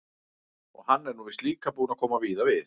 Og hann er nú víst líka búinn að koma víða við.